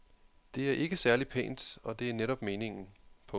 Det er ikke særlig pænt og det er netop meningen. punktum